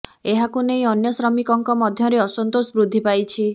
ଏହାକୁ ନେଇ ଅନ୍ୟ ଶ୍ରମିକଙ୍କ ମଧ୍ୟରେ ଅସନ୍ତୋଷ ବୃଦ୍ଧି ପାଇଛି